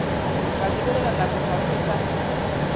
ke lebelela nako ka hwetša